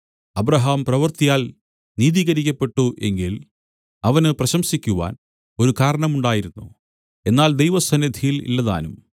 Abraham പ്രവൃത്തിയാൽ നീതീകരിക്കപ്പെട്ടു എങ്കിൽ അവന് പ്രശംസിക്കുവാൻ ഒരു കാരണമുണ്ടായിരുന്നു എന്നാൽ ദൈവസന്നിധിയിൽ ഇല്ലതാനും